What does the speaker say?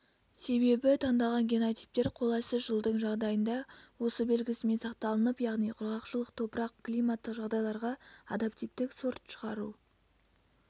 себебі таңдалған генотиптер қолайсыз жылдың жағдайында осы белгісімен сақталынып яғни құрғақшылық топырақ-климаттық жағдайларға адаптивтік сорт шығару